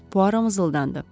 Puaro mızıldandı.